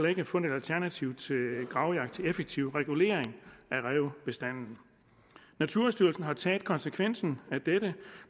ikke fundet et alternativ til gravjagt til effektiv regulering af rævebestanden naturstyrelsen har taget konsekvensen af dette